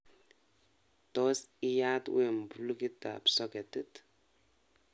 Tos iyaat wemo plukitab soketit